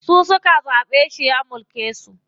Su suka zaɓe shi ya mulke su.